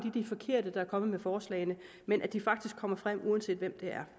er de forkerte der er kommet med forslagene men at de faktisk kommer frem uanset hvem der